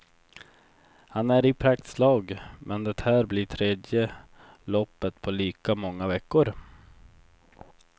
Han är i praktslag men det här blir tredje loppet på lika många veckor.